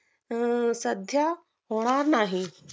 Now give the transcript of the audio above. अं सध्या होणार नाही